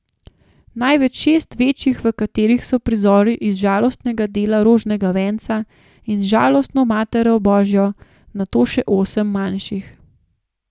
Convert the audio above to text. Najprej šest večjih, v katerih so prizori iz žalostnega dela rožnega venca in z Žalostno Materjo božjo, nato še osem manjših.